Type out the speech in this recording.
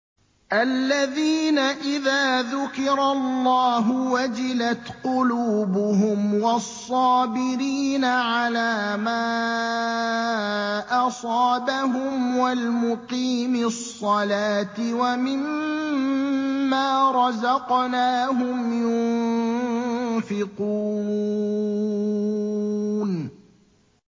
الَّذِينَ إِذَا ذُكِرَ اللَّهُ وَجِلَتْ قُلُوبُهُمْ وَالصَّابِرِينَ عَلَىٰ مَا أَصَابَهُمْ وَالْمُقِيمِي الصَّلَاةِ وَمِمَّا رَزَقْنَاهُمْ يُنفِقُونَ